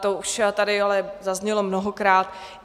To už tady ale zaznělo mnohokrát.